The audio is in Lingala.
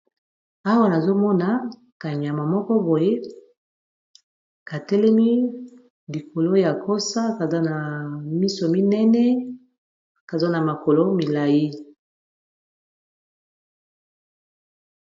awa nazomona kanyama moko boye katelemi likolo ya kosa kaza na miso minene kaza na makolo milai